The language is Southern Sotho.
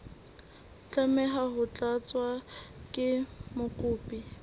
tlameha ho tlatswa ke mokopi